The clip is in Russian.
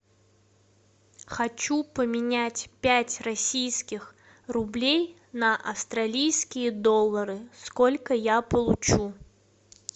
хочу поменять пять российских рублей на австралийские доллары сколько я получу